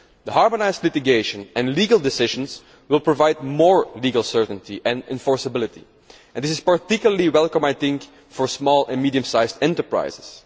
Harmonised litigation and legal decisions will provide more legal certainty and enforceability, which is particularly welcome for small and medium sized enterprises.